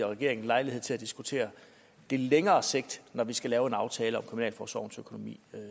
regeringen lejlighed til at diskutere det længere sigt når vi skal lave en aftale om kriminalforsorgens økonomi